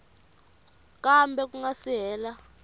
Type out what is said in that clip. kambe ku nga si hela